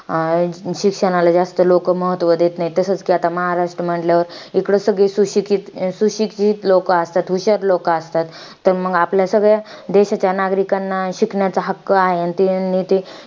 शिक्षणाला जास्त लोकं महत्व देत नाही. तसाच कि आता महाराष्ट्र म्हंटल्यावर इकडे सगळे सुशीषित~ सुशिक्षित लोकं असतात. हुशार लोकं असतात. तर मंग आपल्या सगळ्या देशाच्या नागरिकांना शिकण्याचा हक्क आहे. आणि ते नेते